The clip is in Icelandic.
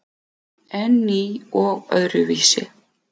En ný og öðruvísi.